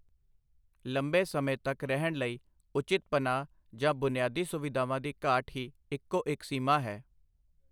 ਲੰਬੇ ਸਮੇਂ ਤੱਕ ਰਹਿਣ ਲਈ ਉਚਿਤ ਪਨਾਹ ਜਾਂ ਬੁਨਿਆਦੀ ਸੁਵਿਧਾਵਾਂ ਦੀ ਘਾਟ ਹੀ ਇੱਕੋ ਇੱਕ ਸੀਮਾ ਹੈ।